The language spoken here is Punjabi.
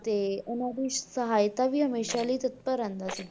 ਤੇ ਉਹਨਾਂ ਦੀ ਸਹਾਇਤਾ ਲਈ ਹਮੇਸ਼ਾ ਲਈ ਤਤਪਰ ਰਹਿੰਦਾ ਸੀ।